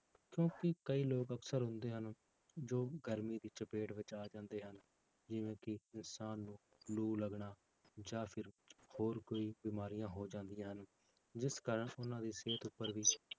ਕਿਉਂਕਿ ਕਈ ਲੋਕ ਅਕਸਰ ਹੁੰਦੇ ਹਨ, ਜੋ ਗਰਮੀ ਦੀ ਚਪੇਟ ਵਿੱਚ ਆ ਜਾਂਦੇ ਹਨ, ਜਿਵੇਂ ਕਿ ਇਨਸਾਨ ਨੂੰ ਲੂੰ ਲੱਗਣਾ ਜਾਂ ਫਿਰ ਹੋਰ ਕੋਈ ਬਿਮਾਰੀਆਂ ਹੋ ਜਾਂਦੀਆਂ ਹਨ, ਜਿਸ ਕਾਰਨ ਉਹਨਾਂ ਦੀ ਸਿਹਤ ਉੱਪਰ ਵੀ